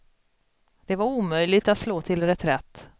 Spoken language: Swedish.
Det var omöjligt att slå till reträtt.